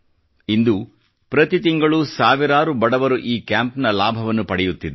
ಇಂದು ಪ್ರತಿ ತಿಂಗಳೂ ಸಾವಿರಾರು ಬಡವರು ಈ ಕ್ಯಾಂಪ್ ಗಳ ಭವನ್ನು ಪಡೆಯುತ್ತಿದ್ದಾರೆ